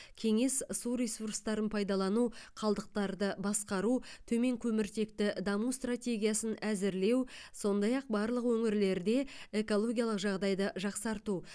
кеңес су ресурстарын пайдалану қалдықтарды басқару төмен көміртекті даму стратегиясын әзірлеу сондай ақ барлық өңірлерде экологиялық жағдайды жақсарту